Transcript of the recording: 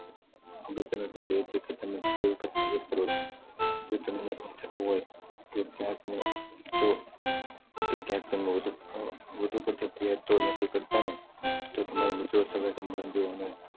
અગત્ય નું એ છે ક તમે કેટલી વખત ફરિયાદ કરો છો. જો તમને એવું થતું હોય ક્યાંક તમે વધુ પડતી ફરિયાદ તો નથી કરતાને તો તમારા મિત્રો ને કે સગા સંબંધીઓ ને